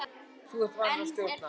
Þú ert vanur að stjórna.